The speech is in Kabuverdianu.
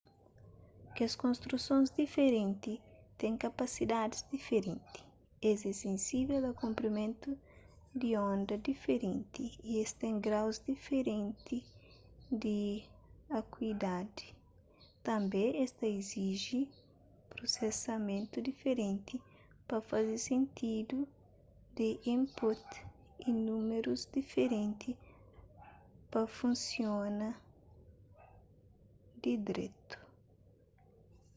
kes konstrusons diferenti ten kapasidadis diferenti es é sensível a konprimentu di onda diferenti y es ten graus diferenti di akuidadi tanbê es ta iziji prusesamentu diferenti pa faze sentidu di input y númerus diferenti pa funsiona di dretu